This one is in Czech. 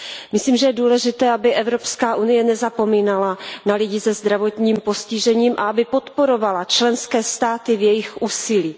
Myslím, že je důležité, aby Evropská unie nezapomínala na lidi se zdravotním postižením a aby podporovala členské státy v jejich úsilí.